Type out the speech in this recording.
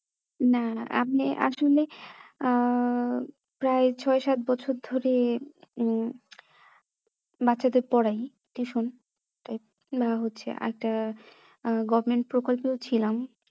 না আমি আসলে আহ প্রায় ছয় সাত বছর ধরে উম বাচ্চাদের পড়ায় tuition তাই বা হচ্ছে একটা government প্রকল্পেও ছিলাম